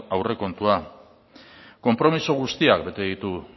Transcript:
aurrekontua konpromiso guztiak bete ditu